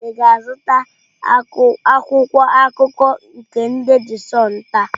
Ị ga-azụta Akwụkwọ akụkọ nke ndị de Sunụ taa?